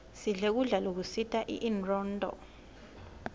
sidle kudla lokusita inronduo